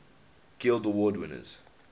guild award winners